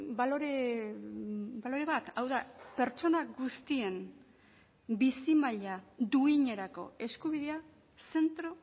balore bat hau da pertsona guztien bizi maila duinerako eskubidea zentro